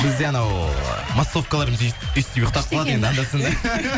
бізде анау массовкаларымыз өйстіп ұйықтап қалады енді анда санда